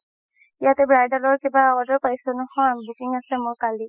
ইয়াতে bridal ৰ কিবা order পাইছো নহয় booking আছে মোৰ কালি